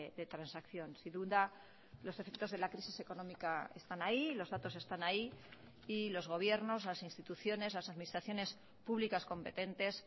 de transacción sin duda los efectos de la crisis económica están ahí los datosestán ahí y los gobiernos las instituciones las administraciones públicas competentes